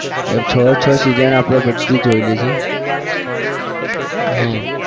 યાર છ એ છ season આપણે બધી જોઈએલી છે હો. હા